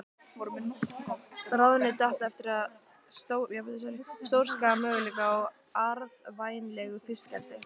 Ráðuneytið átti eftir að stórskaða möguleika á arðvænlegu fiskeldi.